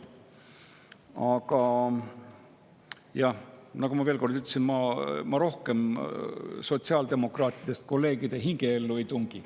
Aga jah, ma juba seda ütlesin ja ma sotsiaaldemokraatidest kolleegide hingeellu rohkem ei tungi.